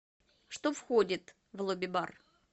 что входит в лобби бар